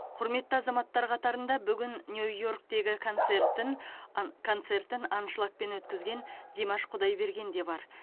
құрметті азаматтар қатарында бүгін нью йорктегі концертін ан концертін аншлагпен өткізген димаш құдайберген де бар